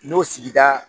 N'o sigida